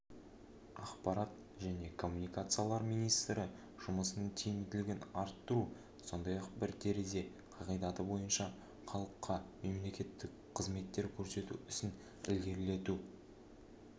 ақпарат және коммуникациялар министрі жұмысының тиімділігін арттыру сондай-ақ бір терезе қағидаты бойынша халыққа мемлекеттік қызметтер көрсету ісін ілгерілету жөнінде қабылданып отырған